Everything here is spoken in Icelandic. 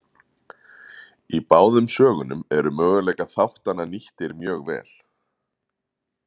Í báðum sögunum eru möguleikar þáttanna nýttir mjög vel.